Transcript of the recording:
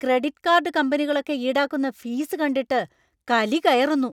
Credit card കമ്പനികളൊക്കെ ഈടാക്കുന്ന fees കണ്ടിട്ട് കലി കയറുന്നു.